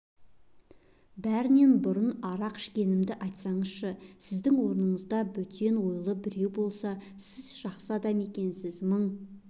бәрінен бұрын арақ ішкенімді айтсайшы сіздің орныңызда бөтен ойлы біреу болса сіз жақсы адам екенсіз мың